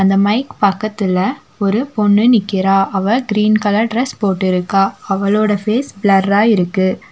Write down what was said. இந்த மைக் பக்கத்துல ஒரு பொண்ணு நிக்கிறா அவ கிரீன் கலர் ட்ரஸ் போட்டிருக்கா அவளோட ஃபேஸ் பிளர்ரா இருக்கு.